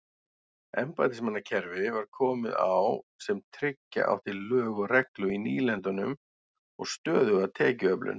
Embættismannakerfi var komið á sem tryggja átti lög og reglu í nýlendunum og stöðuga tekjuöflun.